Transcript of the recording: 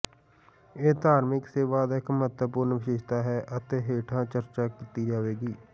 ਇਹ ਧਾਰਮਿਕ ਸੇਵਾ ਦਾ ਇਕ ਮਹੱਤਵਪੂਰਣ ਵਿਸ਼ੇਸ਼ਤਾ ਹੈ ਅਤੇ ਹੇਠਾਂ ਚਰਚਾ ਕੀਤੀ ਜਾਵੇਗੀ